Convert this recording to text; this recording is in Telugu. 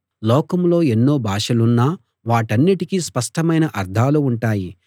లోకంలో ఎన్నో భాషలున్నా వాటన్నిటికీ స్పష్టమైన అర్థాలు ఉంటాయి